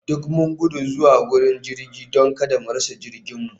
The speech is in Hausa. Duk mun gudu zuwa wurin jira don kada mu rasa jirginmu